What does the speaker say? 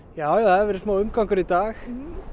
já það hefur verið smá umgangur í dag